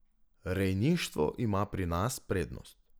Rejništvo ima pri nas prednost.